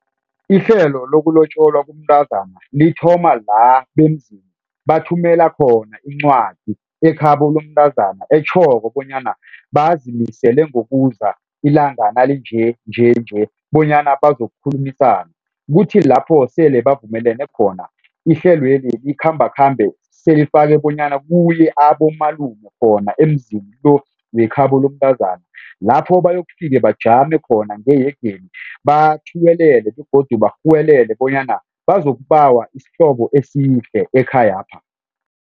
Ihlelo lokulotjolwa komntazana lithoma la bemzini bathumela khona incwadi ekhabo lomntazana etjhoko bonyana bazimisele ngokuza ilanga nalinje njenje bonyana bazokukhulumisana. Kuthi lapho sele bavumelane khona ihlelweli likhambakhambe selifake bonyana kuye abomalume khona emzini lo wekhabo lomntazana lapho bayokufika bajame khona ngeyegeni bathuwelele begodu barhuwelele bonyana bazokubawa isihlobo esihle ekhayapha.